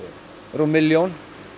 rúm milljón